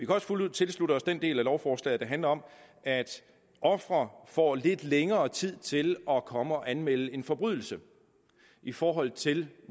også fuldt ud tilslutte os den del af lovforslaget der handler om at ofre får lidt længere tid til at komme og anmelde en forbrydelse i forhold til